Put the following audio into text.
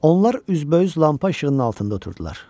Onlar üzbəüz lampa işığının altında oturdular.